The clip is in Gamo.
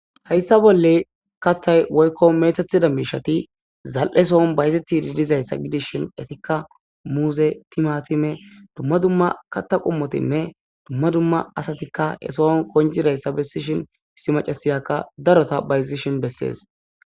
Hayssa bolle kattay woykko metethida miishati zal'e sohon bayzetidi dizayssa gidishin etikka muuze timatime dumma dumma katta qumotinne dumma dumma asatikka esohon koncidayssa bessishin issi macasiyakka darota bayzishin bessees.